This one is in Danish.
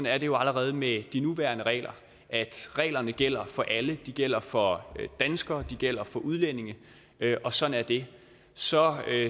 er det jo allerede med de nuværende regler at reglerne gælder for alle de gælder for danskere de gælder for udlændinge og sådan er det så